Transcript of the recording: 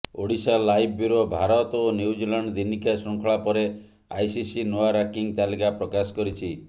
Odisha live bureau Bharat ଓ New Zealand ଦିନିକିଆ ଶୃଙ୍ଖଳା ପରେ ଆଇସିସି ନୂଆ ରାଙ୍କିଙ୍ଗ୍ ତାଲିକା ପ୍ରକାଶ କରିଛି